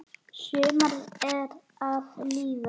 Sumarið er að líða.